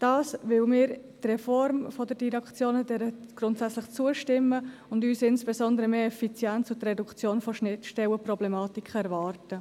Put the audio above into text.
Dies, weil wir der Reform der Direktionen grundsätzlich zustimmen und insbesondere mehr Effizienz und die Reduktion von Schnittstellenproblematiken erwarten.